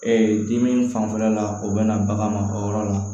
Ee dimi fanfɛla la o bɛ na bagan ma o yɔrɔ la